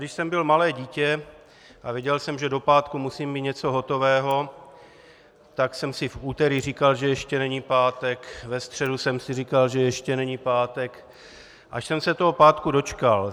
Když jsem byl malé dítě a věděl jsem, že do pátku musím mít něco hotového, tak jsem si v úterý říkal, že ještě není pátek, ve středu jsem si říkal, že ještě není pátek, až jsem se toho pátku dočkal.